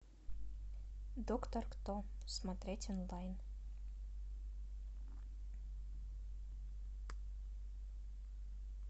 доктор кто смотреть онлайн